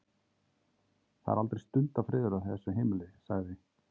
Það er aldrei stundarfriður á þessu heimili- sagði